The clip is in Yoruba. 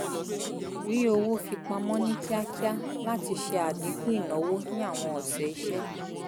rí owó fi pamọ́ ní kíákíá láti ṣe àdínkù ìnáwó ní àwọn ọ̀sẹ̀ iṣẹ́